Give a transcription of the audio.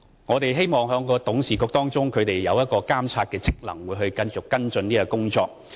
我們希望董事會的監察職能可以繼續跟進這項工作。